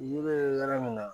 Yiri bɛ yɔrɔ min na